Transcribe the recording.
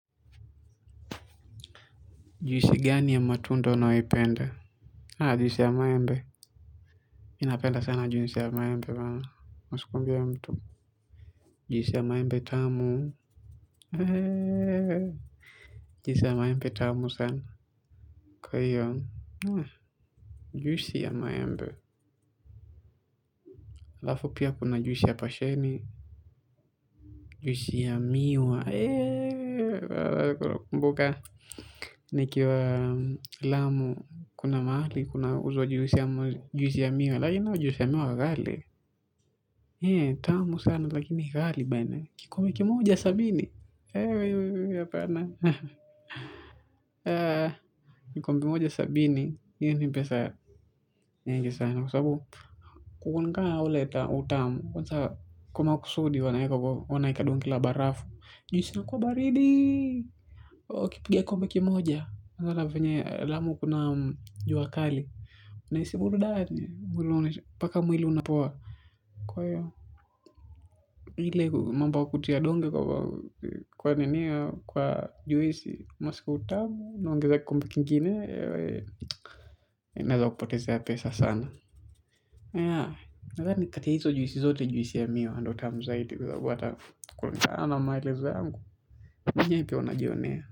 Juisi gani ya matunda unayoipenda? Haa, juisi ya maembe. Mi napenda sana juisi ya maembe. Huskumbia mtu. Juhisi ya maembe tamu. Juisi ya maembe tamu sana. Kwa hiyo. Juisi ya maembe. Haafu pia kuna juisi ya pasheni. Juisi ya miwa. Mboka. Nikiwa Lamu kuna mahali kunauzwa juisi ya miwa. Lakini hiyo juisi ya miwa ghali. Hei, tamu sana lakini ghali bana, kikombe kimoja sabini, hei, hapana, hee, kikombe moja sabini, hii ni pesa, nyingi sana, kwa sababu, kulingana na ule utamu, kwanza kwa makusudi wanaeka, wanaeka donge la barafu, juisi inakuwa baridi, wakipiga kikombe kimoja unaona vyenye Lamu kuna jua kali unahisi burudani mpaka mwili unapoa. Kwa hiyo ile mambo ya kutia donge kwa nini kwa juisi unasikia utamu unaongeza kikombe kingine inaeza kupotezea pesa sana. Yeah nadhani kati ya hizo juisi zote juisi ya miwa ndio tamu zaidi kwa sababu hata kulingana na maelezo yangu, ukuja hivi pia unajionea.